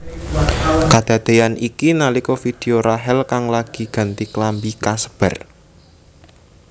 Kadadéyan iki nalika vidéo Rachel kang lagi ganti klambi kasebar